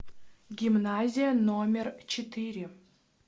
гимназия номер четыре